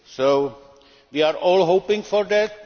So we are all hoping for that.